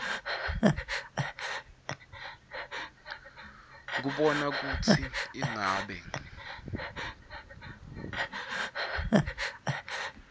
kubona kutsi ingabe